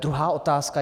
Druhá otázka.